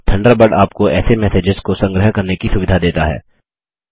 Thunderbird आपको ऐसे messages को संग्रह करने की सुविधा देता है